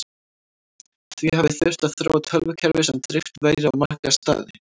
því hafi þurft að þróa tölvukerfi sem dreift væri á marga staði